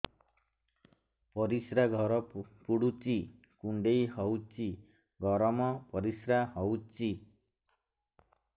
ପରିସ୍ରା ଘର ପୁଡୁଚି କୁଣ୍ଡେଇ ହଉଚି ଗରମ ପରିସ୍ରା ହଉଚି